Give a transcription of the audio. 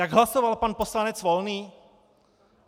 Jak hlasoval pan poslanec Volný?